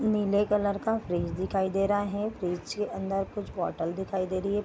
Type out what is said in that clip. नीले कलर का फ्रिज दिखाई दे रहा है फ्रिज के अन्दर कुछ बोटल दिखाई दे रही है।